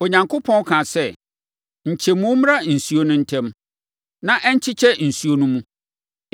Onyankopɔn kaa sɛ, “Nkyɛmu mmra nsuo no ntam, na ɛnkyekyɛ nsuo no mu.”